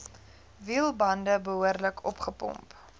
wielbande behoorlik opgepomp